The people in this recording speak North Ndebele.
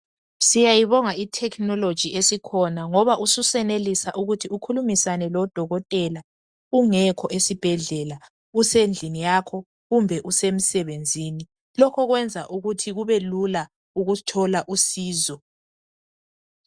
Siyabonga ithekhinologi esikhona ngoba ususenelisa ukuthi ukukhulumisane lodokotela ungekho esibhedlela usendlini yakho kumbe usemsebenzini lokhu kwenza ukuthi kube lula ukuthola usizo.